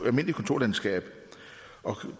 almindeligt kontorlandskab